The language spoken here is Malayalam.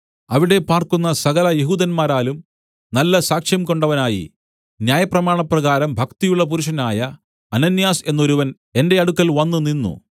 അവിടെ പാർക്കുന്ന സകല യെഹൂദന്മാരാലും നല്ല സാക്ഷ്യം കൊണ്ടവനായി ന്യായപ്രമാണപ്രകാരം ഭക്തിയുള്ള പുരുഷനായ അനന്യാസ് എന്നൊരുവൻ എന്റെ അടുക്കൽ വന്നുനിന്നു